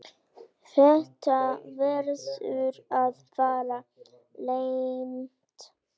Þetta verður að fara leynt!